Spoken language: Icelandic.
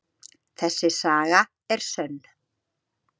Þessi saga er sönn.